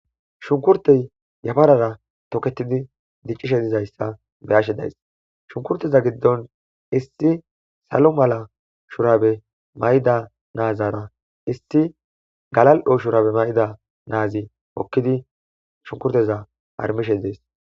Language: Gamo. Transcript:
Shunkkurttey yafarara tokettidi diccishe dizaysssa beyashe dayiss hunkkurteza giddon issi salo mala shurabe mayida naazara isi galo'o shurabe mayida naazi hokidi harmishe des.